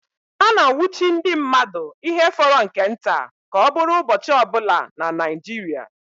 A na-anwụchi ndị mmadụ ihe fọrọ nke nta ka ọ bụrụ ụbọchị ọbụla na Naijiria